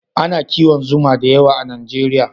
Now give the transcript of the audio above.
A na kiwon zuma da yawa a najeriya